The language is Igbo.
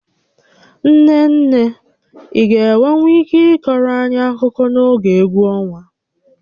Nne nne, ị ga-enwenwu ike ịkọọrọ anyị akụkọ n'oge égwú ọnwa?